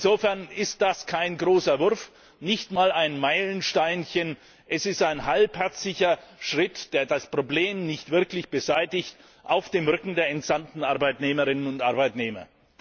Insofern ist das kein großer Wurf, nicht mal ein Meilensteinchen. Es ist ein halbherziger Schritt, der das Problem nicht wirklich beseitigt, auf dem Rücken der entsandten Arbeitnehmerinnen und Arbeitnehmer.